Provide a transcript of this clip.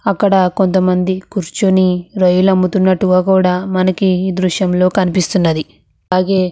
అక్కడ కొంత మంది కోరుచొని రాయలు అమోతునారు అని కనిపెస్తునది. అలాగే --